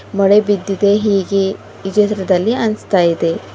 ಮಳೆ ಬಿದ್ದಿದೆ ಹೀಗೆ ಈ ಚಿತ್ರದಲ್ಲಿ ಅನ್ಸ್ತಾ ಇದೆ.